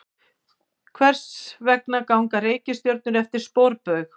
Hvers vegna ganga reikistjörnur eftir sporbaug?